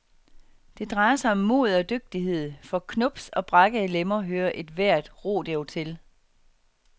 Det drejer sig om mod og dygtighed, for knubs og brækkede lemmer hører ethvert rodeo til.